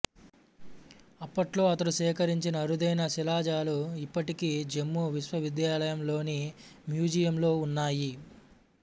అప్పట్లో అతడు సేకరించిన అరుదైన శిలాజాలు ఇప్పటికీ జమ్మూ విశ్వవిద్యాలయంలోని మ్యూజియంలో ఉన్నాయి